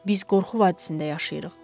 Biz qorxu vadisində yaşayırıq.